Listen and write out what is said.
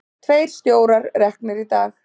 Tveir stjórar reknir í dag